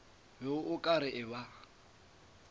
be o ka re ba